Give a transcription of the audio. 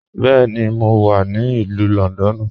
Bẹẹni, mo wà ni Ilù Lọ́ndọ́nù.